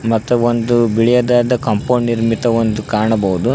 ಮತ್ತೆ ಒಂದು ಬಿಳೆಯದಾದ ಕಾಂಪೌಂಡ್ ನಿರ್ಮಿತ ಒಂದು ಕಾಣಬಹುದು.